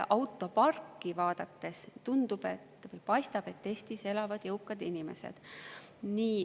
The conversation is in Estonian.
Autoparki vaadates paistab, et Eestis elavad jõukad inimesed.